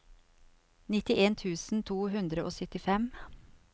nittien tusen to hundre og syttifem